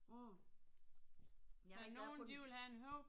Mh. Jamen der er kun